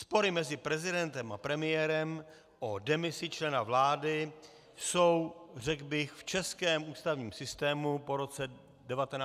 Spory mezi prezidentem a premiérem o demisi člena vlády jsou, řekl bych, v českém ústavním systému po roce 1992 už tradiční.